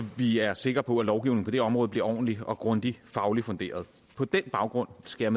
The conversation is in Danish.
vi er sikre på at lovgivningen område bliver ordentligt og grundigt fagligt funderet på den baggrund skal